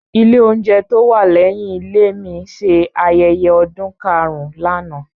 Ilé oúnjẹ tó wà lẹ́yìn ilé mi ṣe ayẹyẹ ọdún karùn-ún lánàá.